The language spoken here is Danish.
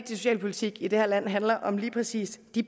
socialpolitik i det her land handler om lige præcis de